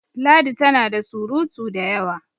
ladi tana da surutu da yawa!